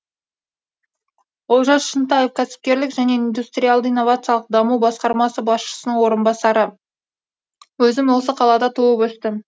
олжас шынтаев кәсіпкерлік және индустриалды инновациялық даму басқармасы басшысының орынбасары өзім осы қалада туып өстім